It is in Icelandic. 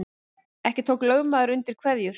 Ekki tók lögmaður undir kveðjur